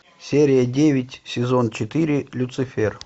серия девять сезон четыре люцифер